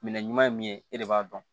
Minɛn ɲuman ye min ye e de b'a dɔn